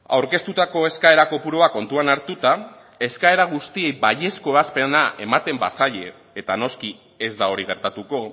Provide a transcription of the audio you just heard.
aurkeztutako eskaera kopurua kontuan hartuta eskaera guztiei baiezko ebazpena ematen bazaie eta noski ez da hori gertatuko